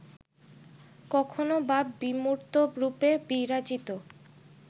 কখনো বা বিমূর্তরূপে বিরাজিত